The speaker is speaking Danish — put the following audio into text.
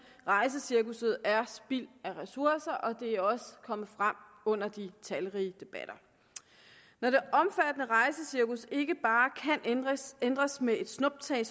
rejsecirkusset er spild af ressourcer og det er også kommet frem under de talrige debatter når det omfattende rejsecirkus ikke bare kan ændres ændres med et snuptag